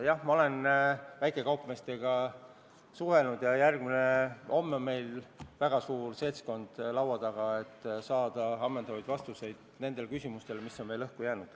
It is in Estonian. Jah, ma olen väikekaupmeestega suhelnud ja homme on meil väga suur seltskond laua taga, et saaksime ammendavad vastused nendele küsimustele, mis on veel õhku jäänud.